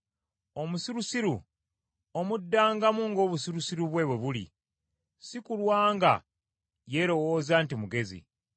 Omusirusiru omuddangamu ng’obusirusiru bwe, bwe buli, si kulwa nga yeerowooza nti mugezi.